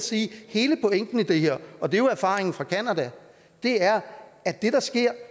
sige at hele pointen i det her og det er jo erfaringen fra canada er at det der sker